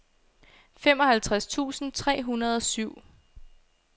femoghalvtreds tusind tre hundrede og syv